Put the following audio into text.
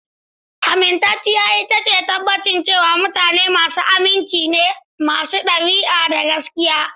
Amintacciya ita ce tabbacin cewa mutane masu aminci ne, masu ɗabi'a, da gaskiya.